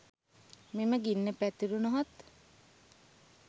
මෙම ගින්න පැතුරුණහොත්